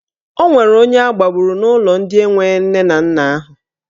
Ọ nwere onye agbagburu n'ụlọ ndị enwe nne na nna ahụ.